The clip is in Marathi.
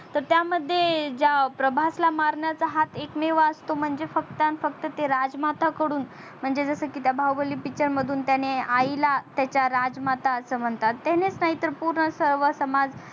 तर त्या मध्ये ज्या प्रभासला मारण्याचा हात एक मेवा असतो म्हणजे फक्त अन फक्त ते राजमाता कडून म्हणजे जस की त्या बाहुबली picture मधून त्याने आईला त्याच्या राजमाता अस म्हणतात त्यानेच नाही तर पूर्ण सर्वणच्या माज